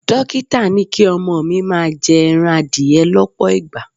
Dókítà ní kí ọmọ mi máa jẹ ẹran adìẹ lọ́pọ̀ ìgbà.